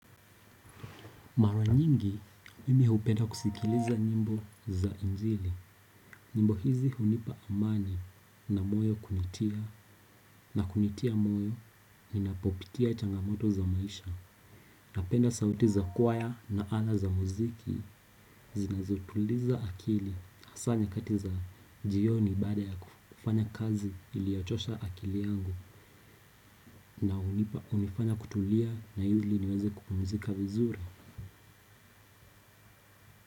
Mara nyingi mimi hupenda kusikiliza nyimbo za injili. Nyimbo hizi hunipa amani na moyo kunitia na kunitia moyo ninapopitia changamoto za maisha. Napenda sauti za kwaya na ala za muziki zinazotuliza akili. Hasa nyakati za jioni baada ya kufanya kazi iliochosha akili yangu na hunipa hunifanya kutulia na ili niweze kupumzika vizuri.